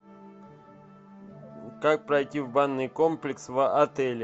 как пройти в банный комплекс в отеле